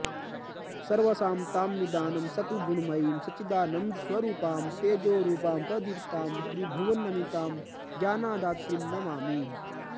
सर्वासां तां निदानं सकलगुणमयीं सच्चिदानस्वरूपां तेजोरूपां प्रदीप्तां त्रिभुवननमितां ज्ञानदात्रीं नमामि